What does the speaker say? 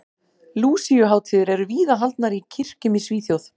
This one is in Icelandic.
Lúsíuhátíðir eru víða haldnar í kirkjum í Svíþjóð.